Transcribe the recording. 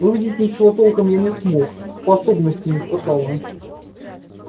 увидеть ничего толком я не смог способностей не хватало